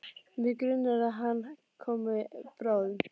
Mig grunar að hann komi bráðum.